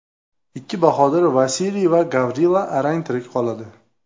Ikki bahodir – Vasiliy va Gavrila arang tirik qoladi.